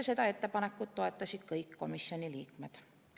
Seda ettepanekut toetasid kõik komisjoni liikmed.